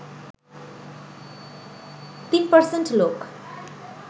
৩% লোক